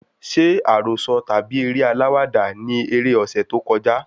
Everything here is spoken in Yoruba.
Ṣé àròsọ tàbí eré aláwàdà ni eré ọsẹ tó kọjá?